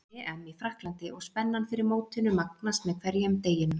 EM í Frakklandi og spennan fyrir mótinu magnast með hverjum deginum.